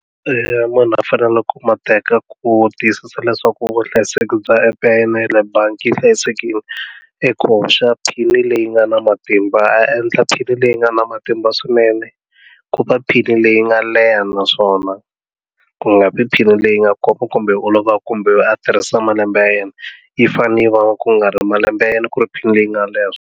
munhu a faneleke ku ma teka ku tiyisisa leswaku vuhlayiseki bya app ya yena yale bangi yi hlayisekile eku hoxa pin leyi nga na matimba a endla pin leyi nga na matimba swinene ku va pin leyi nga leha naswona ku nga vi pin leyi nga koma kumbe yi olovaku kumbe a tirhisa malembe ya yena yi fane yi va ku nga ri malembe ya yena ku ri pin leyi nga leha .